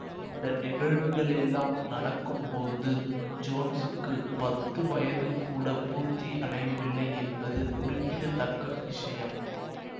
இந்த நிகழ்வுகள் எல்லாம் நடக்கும்போது ஜோன்ஸுக்கு பத்து வயது கூட பூர்த்தியடையவில்லை என்பது குறிப்பிடத்தக்க விஷயம்